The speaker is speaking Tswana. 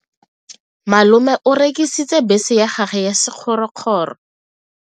Malome o rekisitse bese ya gagwe ya sekgorokgoro.